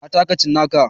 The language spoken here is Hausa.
Na taka cinnaka.